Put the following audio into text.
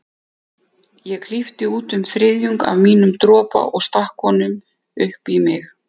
Ég klippti út um þriðjung af mínum dropa og stakk honum upp í mig.